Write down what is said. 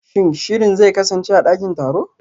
Shin shirin zai kasance a dakin taro?